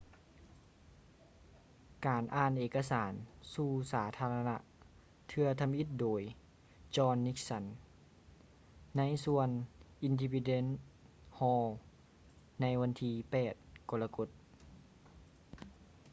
ການອ່ານເອກະສານສູ່ສາທາລະນະເທື່ອທຳອິດໂດຍ jonh nixon ໃນສວນ independence hall ໃນວັນທີ 8 ກໍລະກົດ